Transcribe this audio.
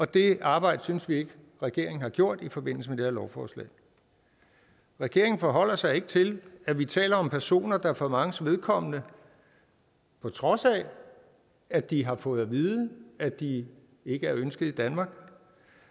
det arbejde synes vi ikke at regeringen har gjort i forbindelse med det her lovforslag regeringen forholder ikke sig til at vi taler om personer der for manges vedkommende på trods af at de har fået vide at de ikke er ønskede i danmark